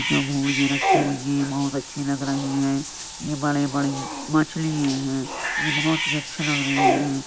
जो भून के रखी हुई हैं बहुत अच्छी लग रही हैं। ये बड़े-बड़ी मछलिये हैं। ये बहुत ही अच्छे लग रहे हैं।